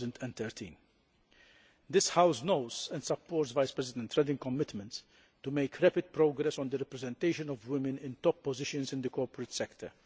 2013. This House knows and supports Vice President Reding's commitment to making rapid progress on the representation of women in top positions in the corporate sector.